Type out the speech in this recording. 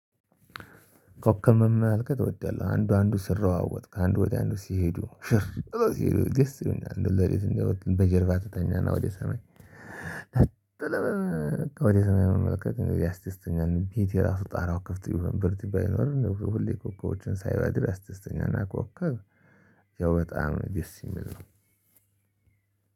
ኮከብ ትወዳለህ አንዱ አንዱ ሲሯሯጥ ከአንዱ ቦታ አንዱ ሲሄዱ ሽር ብለው ይሆናል እንደው በጀርባ ትተኛና ወደ ሰማይ። በቃ ወደ ሰማይ አመለከትኩኝ አስተሳሰተኛን ቤት የራሱ ጣራው ከፍት ይሁን ብር ቢባል ይኖር ሁሌ ኮኮቦችን ሳይባል አስተሳሰተኛን አኳኋክ ኮከብ ያው በጣም ነው የሚል ነው።